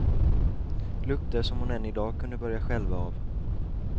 Lukter som hon än idag kunde börja skälva av.